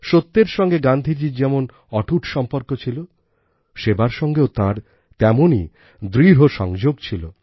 সত্যর সঙ্গে গান্ধীজীর যেমন অটুট সম্পর্ক ছিল সেবার সঙ্গেও তাঁর তেমনই দৃঢ় সংযোগ ছিল